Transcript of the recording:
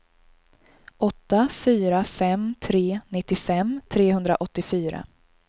åtta fyra fem tre nittiofem trehundraåttiofyra